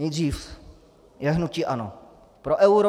Nejdřív je hnutí ANO pro euro.